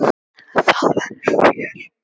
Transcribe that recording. Það verður fjör.